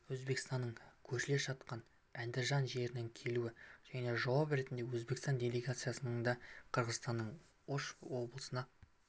өзбекстанның көршілес жатқан әндіжан жеріне келуі және жауап ретінде өзбекстан делегациясының да қырғызстанның ош облысына